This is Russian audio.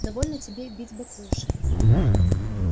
довольно тебе бить баклуши